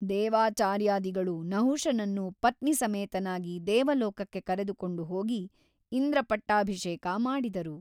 ದೇವಾಚಾರ್ಯಾದಿಗಳು ನಹುಷನನ್ನು ಪತ್ನೀಸಮೇತನಾಗಿ ದೇವಲೋಕಕ್ಕೆ ಕರೆದುಕೊಂಡು ಹೋಗಿ ಇಂದ್ರಪಟ್ಟಾಭಿಷೇಕ ಮಾಡಿದರು.